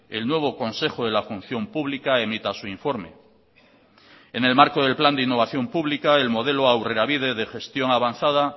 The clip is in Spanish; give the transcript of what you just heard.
el nuevo consejo de la función pública emita su informe en el marco del plan de innovación pública el modelo aurrerabide de gestión avanzada